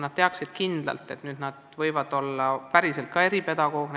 Nad tahavad kindlalt teada, et nad võivad päriselt ka näiteks eripedagoogid olla.